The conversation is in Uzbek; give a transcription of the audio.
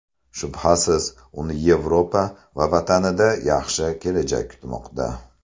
Shubhasiz, uni Yevropa va vatanida yaxshi kelajak kutmoqda.